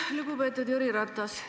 Lugupeetud Jüri Ratas!